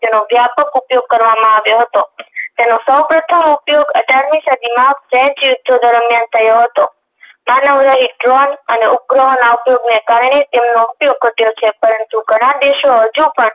તેનો વ્યાપક ઉપયોગ કરવામાં આવ્યો હતો તેનો સોઉ પ્રથમ ઉપયોગ અઢારમી સદીમાં ફ્રેંચ યુદ્ધો દરમિયાન થયો હતો માનવ રહિત drone અને ઉપગ્રહો ના ઉધયોગ કારણે તેનો ઉપયોગ વધ્યો છે પરંતુ ઘણા દેશો હજુ પણ